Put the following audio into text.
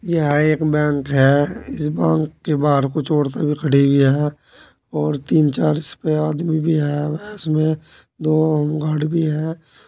यह एक बैंक है। इस बांक के बाहर कुछ औरतें भी खड़ी हुई हैं और तीन चार इसपे आदमी भी हैं। में दो होमगार्ड भी हैं।